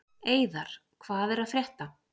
Eiðar, hvað er að frétta?